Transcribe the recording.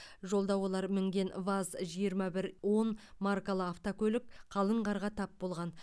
жолда олар мінген ваз жиырма бір он маркалы автокөлік қалың қарға тап болған